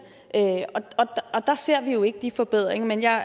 og der ser vi jo ikke de forbedringer men jeg